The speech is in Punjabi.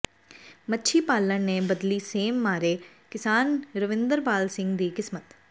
ਮੱਛੀ ਪਾਲਣ ਨੇ ਬਦਲੀ ਸੇਮ ਮਾਰੇ ਕਿਸਾਨ ਰਵਿੰਦਰਪਾਲ ਸਿੰਘ ਦੀ ਕਿਸਮਤ